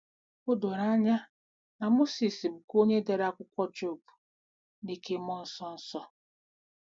O doro anya na Mozis bụkwa onye dere akwụkwọ Job n'ike mmụọ nsọ. nsọ.